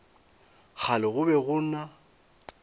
kgale go be go na